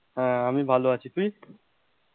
হ্যাঁ আমি ভালো আছি তুই,